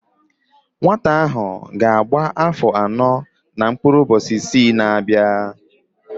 Nwata ahụ ga-agba áfọ̀ anọ na mkpụrụ ụbọchị isii na-abịa